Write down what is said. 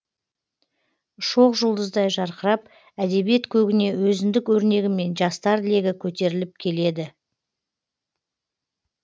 шоқ жұлдыздай жарқырап әдебиет көгіне өзіндік өрнегімен жастар легі көтеріліп келеді